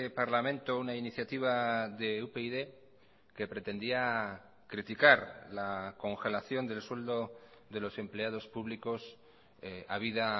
parlamento una iniciativa de upyd que pretendía criticar la congelación del sueldo de los empleados públicos habida